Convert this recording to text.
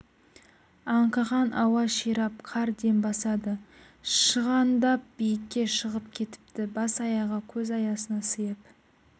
аңқыған ауа ширап қар дем бастады шығандап биікке шығып кетіпті бас-аяғы көз аясына сиып